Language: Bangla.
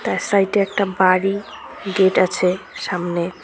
তার সাইড -এ একটা বাড়ি গেট আছে সামনে।